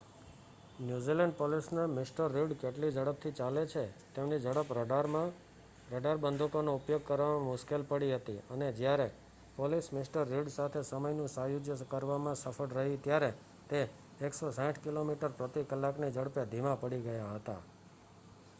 New Zealand પોલીસને મિ. Reid કેટલી ઝડપથી ચાલે છે તેમની ઝડપ રડાર બંદૂકોનો ઉપયોગ કરવામાં મુશ્કેલી પડી હતી અને જ્યારે પોલીસ મિ. રિડ સાથે સમયનું સાયુજ્ય કરવામાં સફળ રહી ત્યારે તે 160કિમી/ક ની ઝડપે ધીમાં પડી ગયા હતા